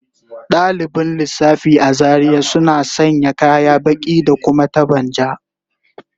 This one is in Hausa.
Dalibin lissafi a Zaria suna sanya kaya baki da kuma taban ja